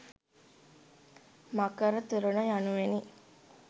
මකර තොරණ යනුවෙනි.